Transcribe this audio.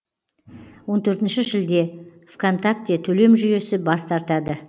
он төртінші шілде в контакте төлем жүйесі бас тартады